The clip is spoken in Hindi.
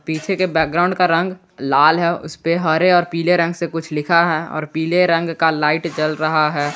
पीछे के बैकग्राउंड का रंग लाल है उसपे हरे और पीले रंग से कुछ लिखा है और पीले रंग का लाइट जल रहा है।